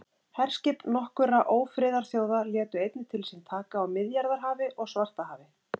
Herskip nokkurra ófriðarþjóða létu einnig til sín taka á Miðjarðarhafi og Svartahafi.